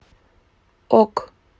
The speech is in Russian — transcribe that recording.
ок